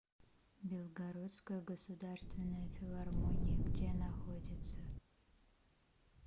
белгородская государственная филармония где находится